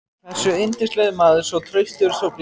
hversu yndislegur maður, svo traustur, svo blíður.